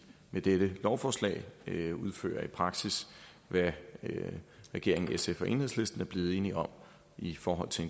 med dette lovforslag udfører i praksis hvad regeringen sf og enhedslisten er blevet enige om i forhold til